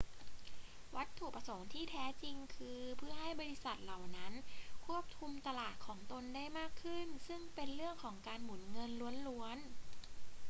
วัตถุประสงค์ที่แท้จริงคือเพื่อให้บริษัทเหล่านั้นควบคุมตลาดของตนได้มากขึ้น ซึ่งเป็นเรื่องของการหมุนเงินล้วนๆ